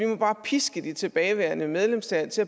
man bare piske de tilbageværende medlemslande til